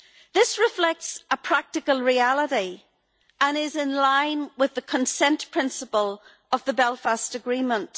This reflects a practical reality and is in line with the consent principle of the Belfast Agreement.